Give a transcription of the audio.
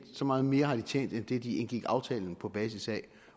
så meget mere har de tjent end det de indgik aftalen på basis af